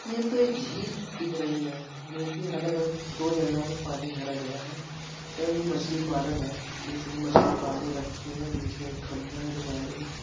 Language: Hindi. यह तो एक झील दिख रही है जोकि अलग-अलग दो जगह मे पानी भरा गया है। शायद यह मछली पालन है इसलिए मछली पाले रखी है बीच मे एक खम्बा जो वायरिंग --